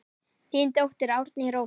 Þín dóttir Árný Rósa.